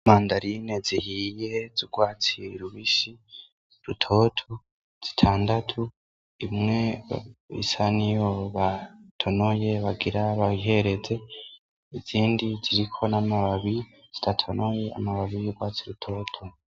Imandarine zihiye z'urwatsi rubisi, rutoto zitandatu, imwe isa niyo batonoye bagira bihereze izindi ziriko n'amababi zidatonoye, amababi y'urwatsi rutoto.